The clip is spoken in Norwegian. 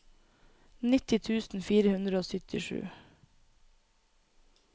nitti tusen fire hundre og syttisju